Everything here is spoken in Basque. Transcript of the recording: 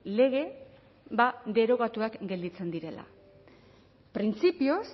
lege ba derogatuak gelditzen direla printzipioz